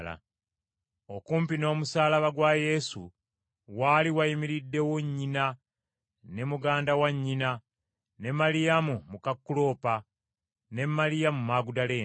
Okumpi n’omusaalaba gwa Yesu waali wayimiriddewo nnyina, ne muganda wa nnyina, ne Maliyamu muka Kuloopa, ne Maliyamu Magudaleene.